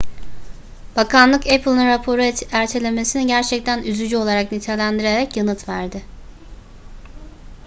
bakanlık apple'ın raporu ertelemesini gerçekten üzücü olarak nitelendirerek yanıt verdi